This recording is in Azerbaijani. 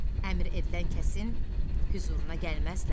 Əmr edilən kəsin hüzuruna gəlməzlər.